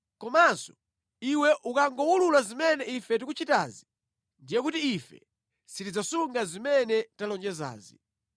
Komanso iwe ukangowulula zimene ife tikuchitazi ndiye kuti ife sitidzasunga zimene talonjezazi.”